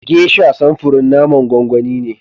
"Geisha", samfurin naman gwangwani ne.